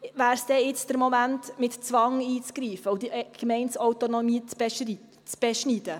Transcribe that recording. Ist es jetzt der Moment, mit Zwang einzugreifen und die Gemeindeautonomie zu beschneiden?